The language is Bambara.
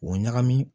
O ɲagami